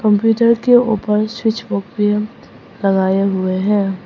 Computer के ऊपर switch box भी लगाए हुए है।